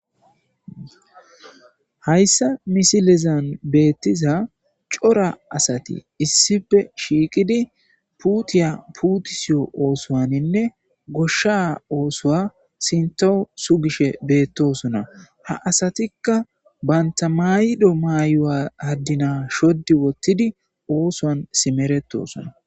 hayssa misilezan beettiza cora asati issife shiiqidi puutiya puutisiyo oosoaninne goshsha oosoa sinto su gishe beettosona ha asatikka baynta mayido maayowa addina shoddi wottidi oosoan simeretosona.